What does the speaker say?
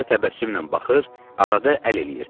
Bizə təbəssümlə baxır, arada əl eləyirdi.